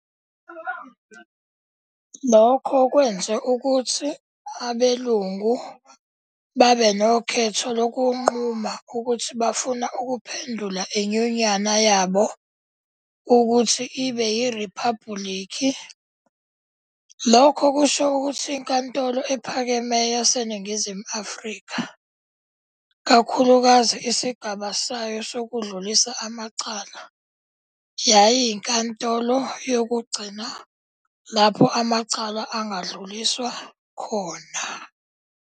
Lokho kwenze ukuthi abelungu babenokhetho lokungquma ukuthi bafuna ukuphendula iNyunyana yabo ukuthi ibeyiRiphabulikhi. Lokho kusho ukuthi iNkantolo EPhakemeyo laseNingizimu Afrika, kakhulukazi Isigaba sayo Sokudlulisa Amacala, yayinkatolo yokugcina lapho amacala angadluliswa khona.